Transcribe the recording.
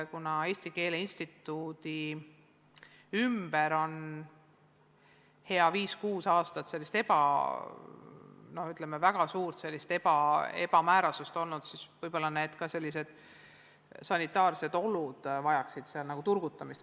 Kuna Eesti Keele Instituudi ümber on viis-kuus aastat olnud sellist, ütleme, väga suurt ebamäärasust, siis võib-olla vajaksid ka sealsed sanitaarsed olud parandamist.